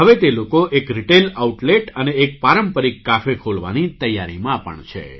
હવે તે લોકો એક રિટેઇલ આઉટલેટ અને એક પારંપરિક કાફે ખોલવાની તૈયારીમાં પણ છે